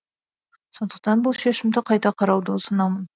сондықтан бұл шешімді қайта қарауды ұсынамын